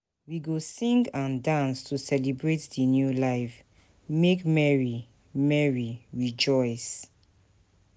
We go sing and dance to celebrate di new life, make merry, merry, rejoice.